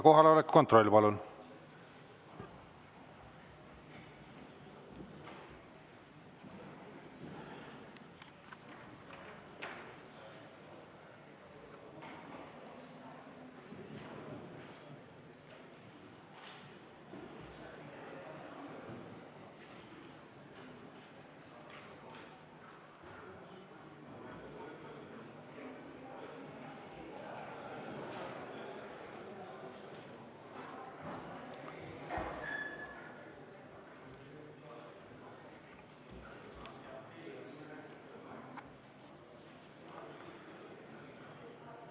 Kohaloleku kontroll, palun!